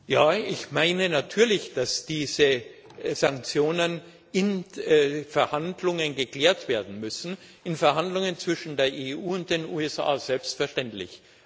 Ja, ich meine natürlich, dass diese Sanktionen in Verhandlungen geklärt werden müssen, in Verhandlungen zwischen der EU und den USA selbstverständlich.